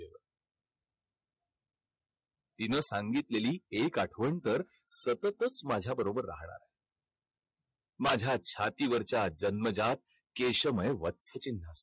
तिनं सांगितलेली एक आठवण तर सततच माझ्याबरोबर राहणार. माझ्या छातीवरच्या जन्मजात केशमय चिन्ह.